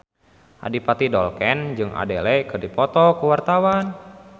Adipati Dolken jeung Adele keur dipoto ku wartawan